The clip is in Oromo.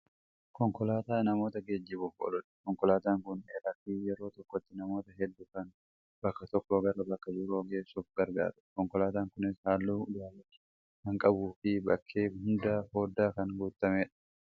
Konkolaataa namoota geejjibuuf ooludha. Konkolaataan kun dheeraafi yeroo tokkotti namoota heedduu kan bakka tokkoo gara bakka biroo geessuuf gargaarudha. Konkolaataan kunis haalluu daalacha kan qabuufi bakkee hundaan fooddaan kan guutamedha.